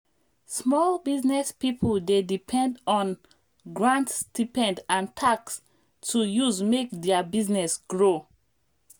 small business people dey depend on grant stipend and tax to use make their business grow